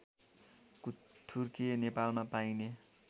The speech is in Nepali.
कुथुर्के नेपालमा पाइने